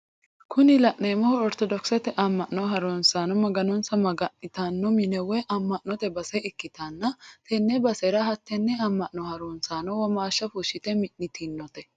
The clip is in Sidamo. Kuni la'neemohu ortodokisete amma'no harunsaano maganonsa maga'nitanno mine woye amma'note base ikkitanna tenne basera hattenne amma'no harunsaano womaasha fushshite mi'nitinote.